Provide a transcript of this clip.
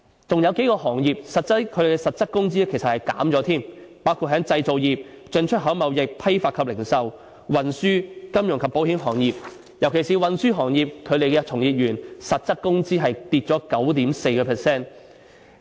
還有數個行業的實質工資其實更減少了，包括製造業、進出口貿易、批發及零售、運輸、金融及保險行業，尤其是運輸行業，其從業員的實質工資下跌了 9.4%。